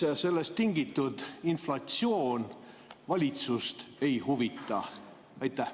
Miks sellest tingitud inflatsioon valitsust ei huvita?